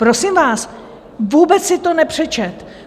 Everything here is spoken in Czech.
Prosím vás, vůbec si to nepřečetl.